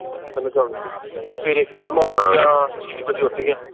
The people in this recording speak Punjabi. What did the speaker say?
ਰਾਤ ਲਾਉਂਗੂਣੀ ਸੀ ਸਵੇਰੇ ਫੇਰ ਮਾਰਤੀਆਂ ਛ ਬਜੇ ਉੱਠ ਗਿਆ